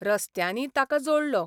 रस्त्यांनी तांकां जोडलो.